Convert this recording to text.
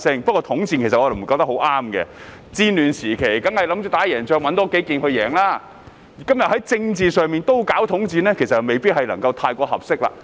不過，我認為統戰是不太合適的，在戰亂時期，當然想多籠絡幾個人以爭取勝利，但在政治上也進行統戰，其實未必太合適。